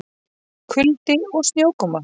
Kuldi og snjókoma